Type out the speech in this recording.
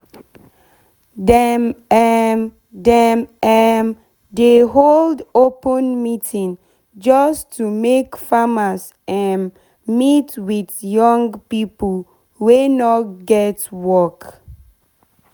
dem um dem um dey hold open meeting jus to make farmers um meet with young pipo wey nor get work